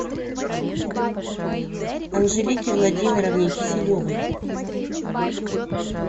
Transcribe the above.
анжелике владимировне киселевой